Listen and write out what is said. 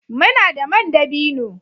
Muna da man dabino